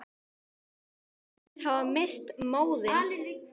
Hinir hafa misst móðinn.